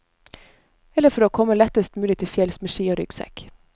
Eller for å komme lettest mulig til fjells med ski og ryggsekk.